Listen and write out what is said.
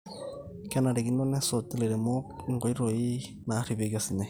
kenarikino nesuj ilairemok inkoitoi naarripieki osinyai